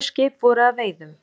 Tvö skip voru að veiðum.